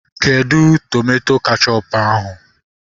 Kedụ tomato kechọpu ahụ?